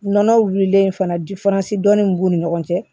Nɔnɔ wulilen fana dɔɔnin b'u ni ɲɔgɔn cɛ